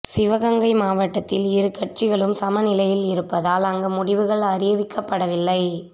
சிவகங்கை மாவட்டத்தில் இரு கட்சிகளும் சம நிலையில் இருப்பதால் அங்கு முடிவுகள் அறிவிக்கப்படவில்லை